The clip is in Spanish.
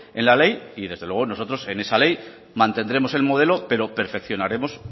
en la ley y desde luego nosotros en esa ley mantendremos el modelo pero perfeccionaremos